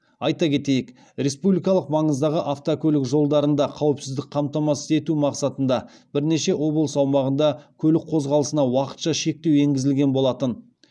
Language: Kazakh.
айта кетейік республикалық маңыздағы автокөлік жолдарында қауіпсіздікті қамтамасыз ету мақсатында бірнеше облыс аумағында көлік қозғалысына уақытша шектеу енгізілген болатын